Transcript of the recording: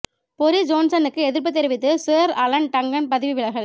Boris ஜோன்சனுக்கு எதிர்ப்புத் தெரிவித்து சேர் அலன் டங்கன் பதவி விலகல்